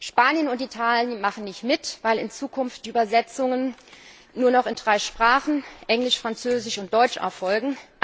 Spanien und Italien machen nicht mit, weil in Zukunft die Übersetzungen nur noch in drei Sprachen Englisch, Französisch und Deutsch erfolgen.